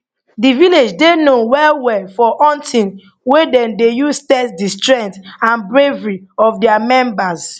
di village dey known well well for hunting wey dem dey use test di strength and bravery of dia members